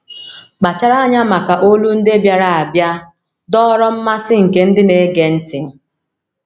“ Kpachara Anya Maka ‘ Olu Ndị Bịara Abịa, ’” dọọrọ mmasị nke ndị na - ege ntị.